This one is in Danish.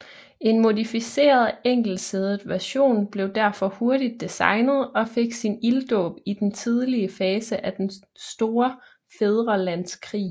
En modificeret enkeltsædet version blev derfor hurtigt designet og fik sin ilddåb i den tidlige fase af Den Store Fædrelandskrig